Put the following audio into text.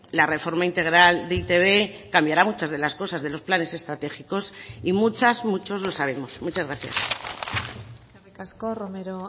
la reforma integral de e i te be cambiará muchas de las cosas de los planes estratégicos y muchas muchos lo sabemos muchas gracias eskerrik asko romero